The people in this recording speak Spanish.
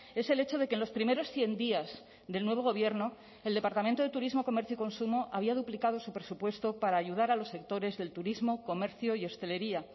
es el hecho de que los primeros cien días del nuevo gobierno el departamento de turismo comercio y consumo había duplicado su presupuesto para ayudar a los sectores del turismo comercio y hostelería